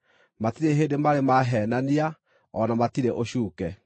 Matirĩ hĩndĩ marĩ maheenania; o na matirĩ ũcuuke.